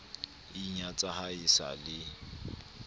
inyatsa ha e sa le